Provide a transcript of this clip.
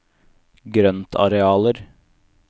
grøntarealer